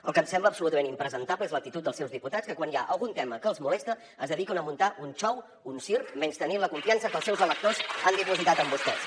el que em sembla absolutament impresentable és l’actitud dels seus diputats que quan hi ha algun tema que els molesta es dediquen a muntar un xou un circ menystenint la confiança que els seus electors han dipositat en vostès